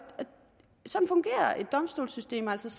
domstolssystem altså